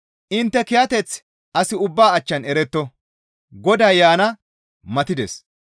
Intte kiyateththi as ubbaa achchan eretto; Goday yaana matides.